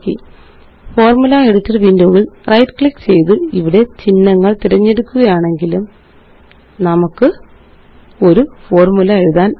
formula editor window യില് right click ചെയ്ത് ഇവിടെ ചിഹ്നങ്ങള് തിരഞ്ഞെടുക്കുകയാണെങ്കിലും നമുക്ക് ഒരു ഫോര്മുല എഴുതാനാകും